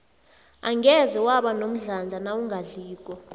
angeze waba nomdlandla nawungadliko